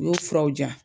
U y'o furaw di yan